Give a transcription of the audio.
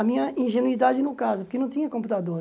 A minha ingenuidade no caso, porque não tinha computador.